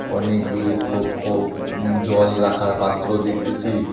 অনেকগুলি খোপ খোপ জল রাখার পাত্র দেখতেসি।